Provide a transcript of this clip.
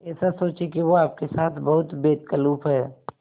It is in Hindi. ऐसा सोचें कि वो आपके साथ बहुत बेतकल्लुफ़ है